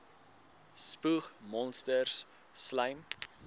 spoeg monsters slym